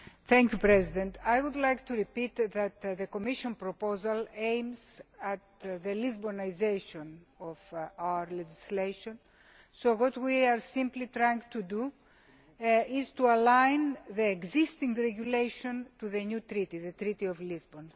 Mr President, I would like to repeat that the Commission proposal aims at the Lisbonisation' of our legislation what we are simply trying to do is align the existing regulation to the new Treaty the Treaty of Lisbon.